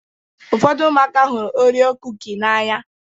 Ụfọdụ ụmụaka hụrụ Orio kuki n'anya.